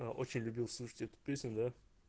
аа очень любил слушать эту песню да